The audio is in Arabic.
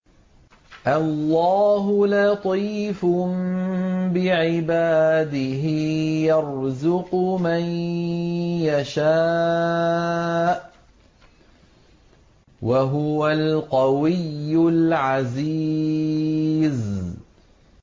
اللَّهُ لَطِيفٌ بِعِبَادِهِ يَرْزُقُ مَن يَشَاءُ ۖ وَهُوَ الْقَوِيُّ الْعَزِيزُ